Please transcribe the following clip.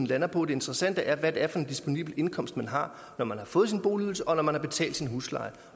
lander på det interessante er hvad det er for en disponibel indkomst man har når man har fået sin boligydelse og når man har betalt sin husleje